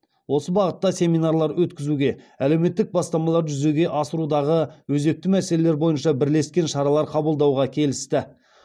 осы бағытта семинарлар өткізуге әлеуметтік бастамаларды жүзеге асырудағы өзекті мәселелер бойынша бірлескен шаралар қабылдауға келісті